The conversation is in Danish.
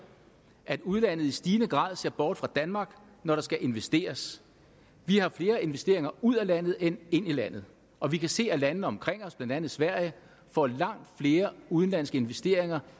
at udlandet i stigende grad ser bort fra danmark når der skal investeres vi har flere investeringer ud af landet end ind i landet og vi kan se at landene omkring os blandt andet sverige får langt flere udenlandske investeringer